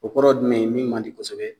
O kɔrɔ dumɛn ye min man di kosɛbɛ